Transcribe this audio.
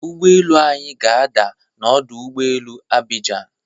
Ụgbọelu anyị ga-ada na ọdụ ụgbọelu Abijian.